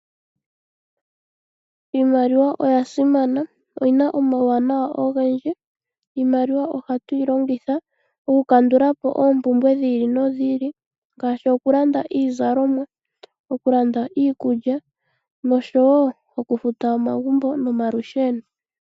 Iimaliwa oyasimana oyina omawuwanawa ogendji iimaliwa ohatu yi longitha oku kandulapo oompumbwe dhili no dhili ngaashi okulanda iizalomwa, okulanda iikulya okufata omagumbo no omalusheno.